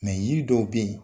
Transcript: Mɛ yiri dɔw bɛ yen